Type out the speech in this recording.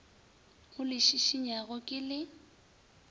o le šišinyago ke le